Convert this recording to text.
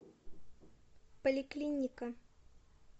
поликлиника